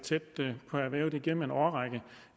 tæt på erhvervet igennem en årrække ved